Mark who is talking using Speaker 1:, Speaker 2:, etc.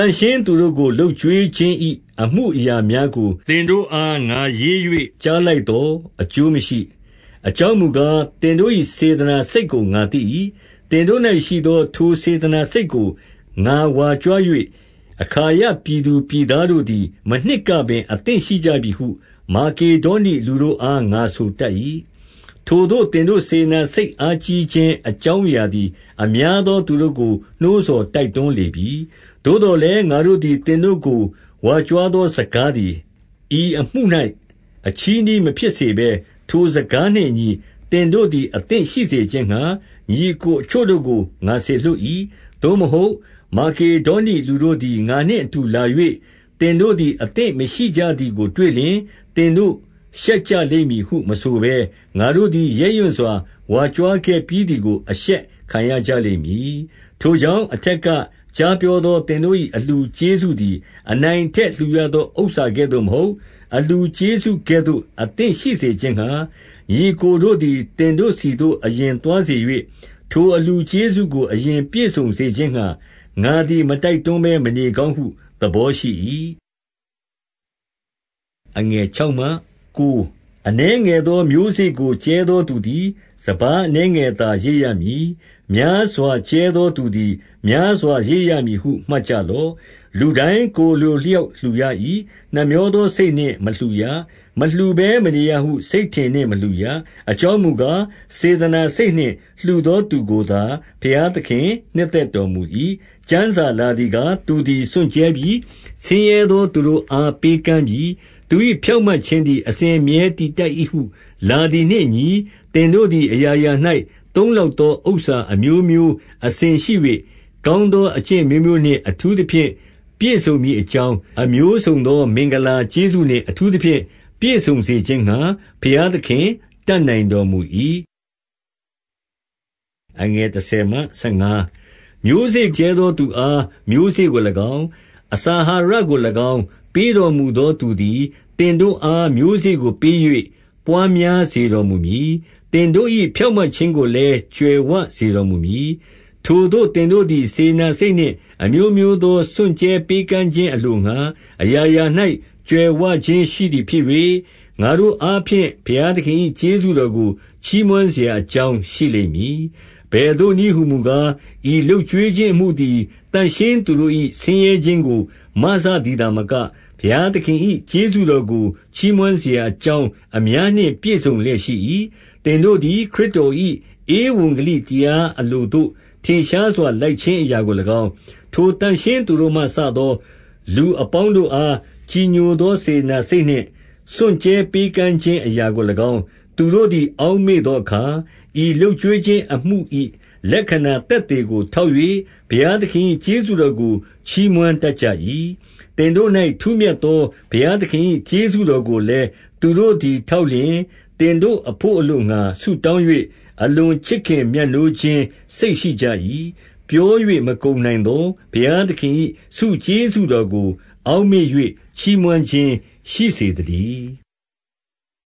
Speaker 1: န့်ရှင်းသူတို့ကို လုပ်ကျွေးခြင်၏ အမူအရာများကို သင်တို့အား ငါရေး၍ကြားလိုက်သော် အကျိုးမရှိ။ 2 အကြောင်းမူကား၊ သင်တို့၏ စေတနာစိတ်ကိုငါသိ၏။ သင်တို့၌ရှိသော ထိုစေတနာစိတ်ကို ငါဝါကြွား၍ အခါယပြည်သူပြည်သားတို့သည် မနှစ်ကပင် အသင့်ရှိကြပြီဟု မာကေဒေါနိလူတို့အား ငါဆို တိတ်၏။ ထိုသို့ သင်တို့ စေတနာစိတ်အားကြီးခြင်း အကြောင်းအရာသည် အများသောသူတို့ကို နှိုးဆော် တိုက်တွန်းလေပြီ။ 3 သို့သော်လည်းငါတို့သည် သင်တို့ကို ဝါကြွားသော စကားသည် ဤအမှု၌ အချည်းနှီး မဖြစ်စေဘဲ၊ ထိုစကားနှင့်အညီ သင်တို့သည်အသင့် ရှိစေခြင်းငှါ ညီအစ်ကိုအချို့ကို ငါစေလွှတ်၏။ 4 သို့မဟုတ် မာကေဒေါနိလူတို့သည် ငါနှင့်အတူ လာ၍ သင်တို့သည်အသင့်မရှိကြသည်ကိုတွေ့လျှင်၊ သင်တို့ရှက်ကြလိမ့်မည်ဟု မဆိုဘဲ၊ ငါတို့သည် ရဲရင့်စွာ ဝါကြွားခဲ့ပြီးသည်ကို အရှက်ခံရကြလိမ့်မည်။ 5 ထိုကြောင့် အထက်က ကြားပြောသော သင်တို့၏ အလှူကျေးဇူးသည် အနိုင်အထက်လှူရသော ဥစ္စာ ကဲ့သို့မဟုတ်။ အလှူကျေးဇူးကဲ့သို့ အသင့်ရှိစေခြင်းငှါ၊ ညီအစ်ကိုတို့သည် သင်တို့ဆီသို့အရင်သွားစေ၍ ထို အလှူကျေးဇူးကို အရင်ပြည့်စုံစေခြင်းငှါ၊ ငါသည် မတိုက်တွန်းဘဲ မနေကောင်းဟုသဘောရှိ၏။ 6 အနည်းငယ်သောမျိုးစေ့ကိုကြဲသောသူသည် စပါးအနည်းငယ်သာရိတ်ရမည်။ များစွာကြဲသောသူသည် များစွာရိတ်ရမည်ဟု မှတ်ကြလော့။ 7 လူတိုင်း ကိုယ်အလိုအလျှောက်လှူရ၏။ နှမြောသောစိတ်နှင့် မလှူရ၊ မလှူဘဲ မနေရဟု စိတ်ထင်နှင့် မလှူရ၊ အကြောင်းမူကား၊ စေတနာစိတ်နှင့်လှူသော သူကိုသာ ဘုရားသခင်နှစ်သက်တော်မူ၏။ 8 ကျမ်းစာလာသည်ကား၊ သူသည်စွန့်ကြဲပြီ၊ ဆင်းရဲသောသူတို့အား ပေးကမ်းပြီ။ 9 သူ၏ဖြောင့်မတ်ခြင်းသည် အစဉ်အမြဲတည်တတ်၏ဟုလာသည်နှင့်အညီ၊ သင်တို့သည်အရာရာ၌ သုံးလောက်သောဥစ္စာအမျိုးမျိုးနှင့် အစဉ်ရှိ၍၊ ကောင်းသော အကျင့်အမျိုးမျိုးနှင့်ထူးသဖြင့်ပြည့်စုံမည် အကြောင်း၊ အမျိုးစုံသောမင်္ဂလာကျေးဇူးနှင့် အထူးသဖြင့် ပြည့်စုံစေခြင်းငှါ ဘုရားသခင်တတ်နိုင်တော်မူ၏။ 10 မျိုးစေ့ကြဲသော သူအားမျိုးစေ့ကို၎င်း၊ အစာအဟာရကို၎င်း၊ ပေးတော်မူသောသူသည်၊ သင်တို့အား မျိုးစေ့ကို ပေး၍ ပွါးများစေတော်မူမည်။ သင်တို့၏ ဖြောင့်မတ်ခြင်းကိုလည်း ကြွယ်ဝစေတော်မူမည်။ 11 ထိုသို့သင်တိုသည် စေတနာစိတ်နှင့် အမျိုးမျိုးသောစွန့်ကြဲပေးကမ်းခြင်းအလို့ငှါ အရာရာ၌ကြွယ်ဝခြင်း ရှိသည်ဖြစ်၍၊ ငါတို့အားဖြင့် ဘုရားသခင်၏ ကျေးဇူးတော်ကို ချီးမွမ်းစရာအကြောင်းရှိလိမ့်မည်။ 12 အဘယ်သို့နည်းဟူမူကား၊ ဤလုပ်ကျွေးခြင်းအမှုသည် သန့်ရှင်းသူတို့၏ ဆင်းရဲခြင်းကို မစသည် သာမက၊ ဘုရားသခင်၏ကျေးဇူးတော်ကို ချီးမွမ်းစရာ အကြောင်းအများနှင် ပြည့်စုံလျက်ရှိ၏။ 13 သင်တို့သည်ခရစ်တော်၏ ဧဝံဂေလိတရား အလိုသို့ ထင်ရှားစွာ လိုက်ခြင်းအလိုကို၎င်း၊ ထိုသန့်ရှင်းသူ တို့မှစသော လူအပေါင်းတို့အား ကြည်ညိုသော စေတနာစိတ်နှင့် စွန်ကြဲပေးကမ်းခြင်းအရာကို၎င်း၊ သူတို့သည် အောက်မေ့သောအခါ၊ ဤလုပ်ကျွေးခြင်းအမှု၏ လက္ခဏာ သက်သေကိုထောက်၍ ဘုရားသခင်၏ ကျေးဇူးတော်ကို ချီးမွမ်းတတ်ကြ၏။ 14 သင်တို့၌ ထူးမြတ်သောဘုရားသခင်၏ ကျေးဇူးတော်ကိုလည်း သူတို့သည်ထောက်လျှင်၊ သင်တို့အဘို့ အလိုငှါဆုတောင်း၍၊ အလွန်ချစ်ခင်မြတ်နိုးခြင်းစိတ် ရှိကြ၏။ 15 ပြော၍မကုန်နိုင်သော ဘုရားသခင်၏ ဆုကျေးဇူးတော်ကို အောက်မေ့၍ ချီးမွမ်းခြင်းရှိစေသတည်း။